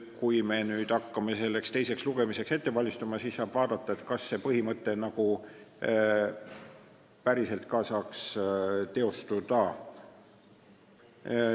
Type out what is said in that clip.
Kui me hakkame teiseks lugemiseks valmistuma, siis saab vaadata, kas see põhimõte saaks ka päriselt teostuda.